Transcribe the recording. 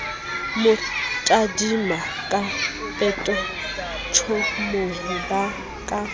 mo tadima ka pelotlhomohi ka